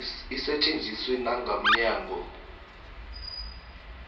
isetjenziswe nanga mnyango